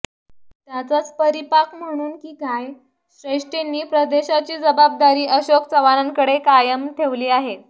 त्याचाच परिपाक म्हणून की काय श्रेष्ठींनी प्रदेशाची जबाबदारी अशोक चव्हाणांकडेच कायम ठेवली आहे